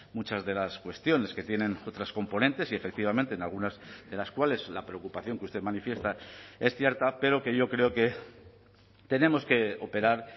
muchas de las cuestiones que tienen otras componentes y efectivamente en algunas de las cuales la preocupación que usted manifiesta es cierta pero que yo creo que tenemos que operar